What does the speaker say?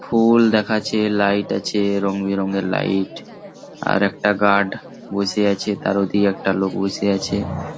ফু-উল দেখাছে লাইট আছে রঙ বেরঙের লাইট ।আর একটা গার্ড বসে আছে। তার ওদিকে একটা লোক বসে আছে।